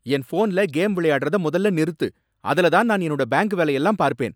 என் ஃபோன்ல கேம் விளையாடுறத மொதல்ல நிறுத்து. அதுல தான் நான் என்னோட பேங்க் வேலை எல்லாம் பார்ப்பேன்.